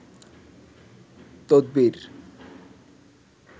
তদবীর